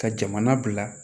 Ka jamana bila